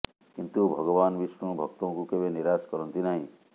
କିନ୍ତୁ ଭଗବାନ ବିଷ୍ଣୁ ଭକ୍ତଙ୍କୁ କେବେ ନିରାଶ କରନ୍ତି ନାହିଁ